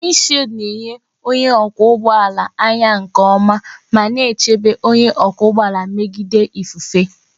Wịndshiịldi na-enye onye ọkwọ ụgbọ ala anya nke ọma ma na-echebe onye ọkwọ ụgbọ ala megide ifufe.